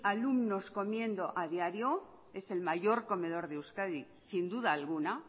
alumnos comiendo a diario es el mayor comedor de euskadi sin duda alguna